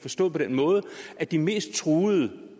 forstået på den måde at de mest truede